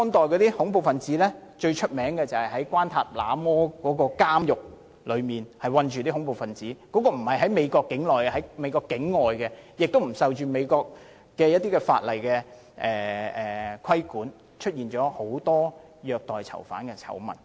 最廣為人知的做法，便是在關塔那摩監獄囚禁恐怖分子，這所監獄不是設於美國境內，而是在境外，而且不受美國法例規管，因而出現了很多虐待囚犯的醜聞。